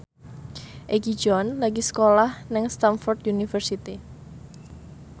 Egi John lagi sekolah nang Stamford University